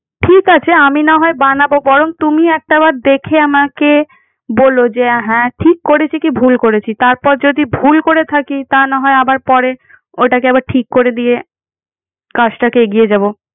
ঠিক আছে। আমি না হয় বানাবো বরং তুমি একটা বার দেখে আমাকে বলো। যে হ্যাঁ, ঠিক করেছি কি ভুল করেছি। তারপর যদি ভুল করে থাকি তা না হয় আবার পরে, ওটাকে আবার ঠিক করে দিয়ে কাজটাকে এগিয়ে যাবো।